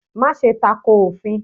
Máse tako òfin